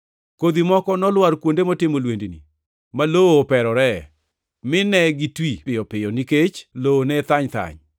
Kodhi moko nolwar kuonde motimo lwendni, ma lowo operoree, mine gitwi piyo piyo nikech lowo ne thany thany.